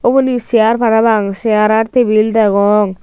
uboni chair parapang chair aar tebill degong.